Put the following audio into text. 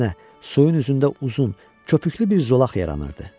Əksinə, suyun üzündə uzun, köpüklü bir zolaq yaranırdı.